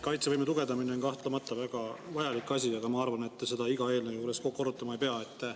Kaitsevõime tugevdamine on kahtlemata väga vajalik asi, aga ma arvan, et te seda iga eelnõu juures korrutama ei pea.